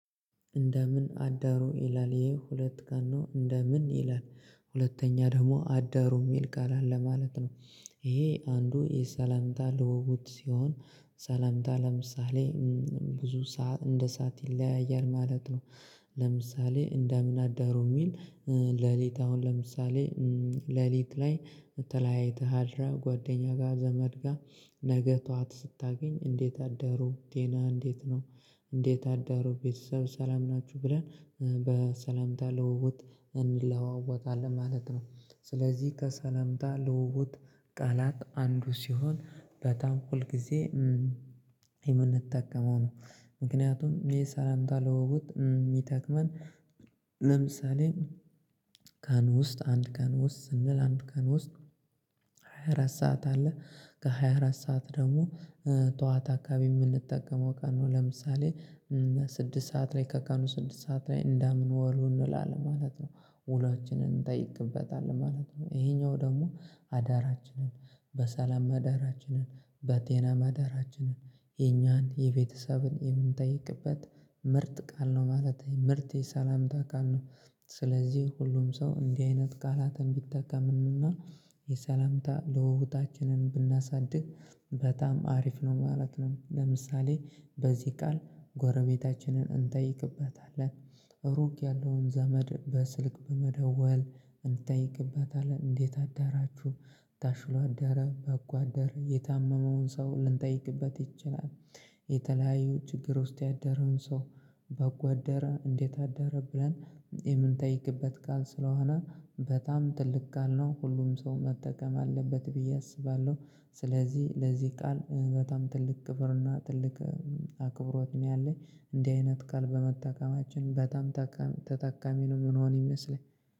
እንደምን አዳሩ ይላል ይሄ ሁለት ጋኖ እንደምን ይላል ሁለተኛ ደግሞ አዳሩ የሚል ቃል አለ ማለት ነው። ይሄ አንዱ የሰላምታ ለውብት ሲሆን። ሰላምታ ለምሳሌ ብዙ እንደ ሰዓት ይለያያል ማለት ነው። ለምሳሌ እንደ ምን አዳሩ የሚል ሌሊት አሁን ለምሳሌ ሌሊት ላይ ተለያይተህ አድራህ ጓደኛ ጋር ዘመድ ጋር ነገ ጠዋት ስታገኝ እንዴት አደሩ ጤናህ እንዴት ነው? እንዴት አደሩ ቤተሰብ ሰላም ናችሁ ብለን በሰላምታ ልውውጥ እንለዋወጣለን ማለት ነው። ስለዚህ ከሰላምታ ልውውጥ ቃላት አንዱ ሲሆን በጣም ሁል ጊዜ የምንጠቀመው ነው። ምክንያቱም ይሄ ሰላምታ ልውውጥ የሚጠቅመን ለምሳሌ ቀን ውስጥ አንድ ቀን ውስጥ ስንል አንድ ቀን ውስጥ ሃያ አራት ሰዓት አለ። ሃያ ኣረትሰዓት ደግሞ ጠዋት አካባቢ የምንጠቀመው ቀኑ ለምሳሌ ስድስት ሰዓት ላይ ከቀኑ ስድስት ሰዓት ላይ እንዳምን ወሎ እንላለን ማለት ነው። ውሏችንን እንጠይቅበታለን ማለት ነው ይሄኛው ደግሞ አዳራችንን በሰላም አዳራችንን በጤና ማዳራችንን የኛን የቤተሰብን የምንጠይቅበት ምርጥ ቃል ነው ማለት ምርጥ የሰላምታ ቃል ነው። ስለዚህ ሁሉም ሰው እንዲህ አይነት ቃላትን ቢጠቀምንና የሰላምታ ልውውጣችንን ብናሳድግ በጣም አሪፍ ነው ማለት ነው። ለምሳሌ በዚህ ቃል ጎረቤታችንን እንጠይቅበታለን ሩቅ ያለውን ዘመድ በስልክ በመደወል እንጠይቅበታለን እንዴት አዳራችሁ? ታሽሎ አዳረ በጎ አደረር የታመመውን ሰው ልንጠይቅበት ይችላል። የተለያዩ ችግር ውስጥ ያደረውን ሰው በጎ አደረ እንዴት አደረ ብለን? የምንጠይቅበት ቃል ስለሆነ በጣም ትልቅ ቃል ነው ሁሉም ሰው መጠቀም አለበት ብዬ አስባለሁ። ስለዚህ ለዚህ ቃል በጣም ትልቅ ክብርና ትልቅ አክብሮት ነው ያለኝ እንዲህ አይነት ቃል በመጠቀማችን በጣም ተጠቃሚ ነው የምንሆን ይመስለኛል